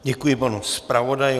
Děkuji panu zpravodaji.